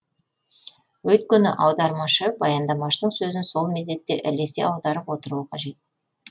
өйткені аудармашы баяндамашының сөзін сол мезетте ілесе аударып отыруы қажет